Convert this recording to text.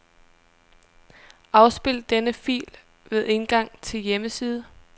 Afspil denne fil ved indgang til hjemmeside.